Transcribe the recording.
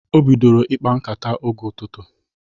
O bidoro ịkpa nkata oge n'ụtụtụ